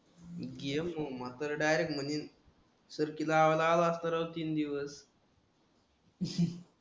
game मा तर direct म्हणील तर तिला लाव सरळ तीन दिवस